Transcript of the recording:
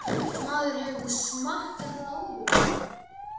Maður hefur nú smakkað það áður.